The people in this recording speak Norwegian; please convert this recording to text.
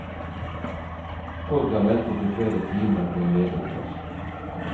Folk har ventet i flere timer på en ledig plass.